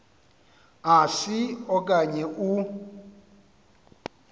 asi okanye u